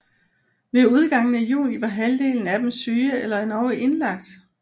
Ved udgangen af juni var halvdelen af dem syge eller endog indlagt